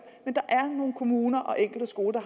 men der er nogle kommuner og enkelte skoler